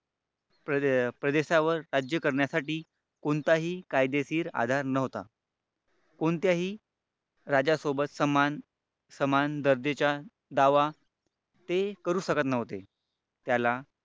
प्रदेशावर राज्य करण्यासाठी कोणताही कायदेशीर आधार नव्हता कोणत्याही राजासोबत सन्मान समान दर्जेचा दावा ते करू शकत नव्हते. त्याला